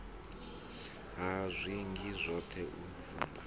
ha zwiga zwoṱhe u vhumba